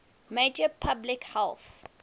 major public health